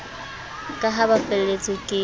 ka ha ba felletswe ke